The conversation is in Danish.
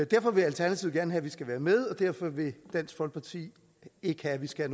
derfor vil alternativet gerne have vi skal være med og derfor vil dansk folkeparti ikke have at vi skal